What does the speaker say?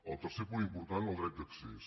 el tercer punt important el dret d’accés